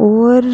और